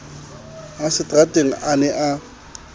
a seterateng a ne a